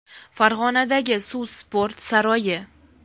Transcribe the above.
Farg‘onadagi Suv sport saroyi.